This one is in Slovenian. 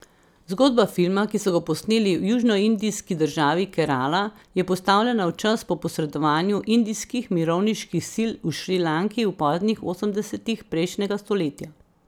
Zgodba filma, ki so ga posneli v južnoindijski državi Kerala, je postavljena v čas po posredovanju indijskih mirovniških sil v Šrilanki v poznih osemdesetih prejšnjega stoletja.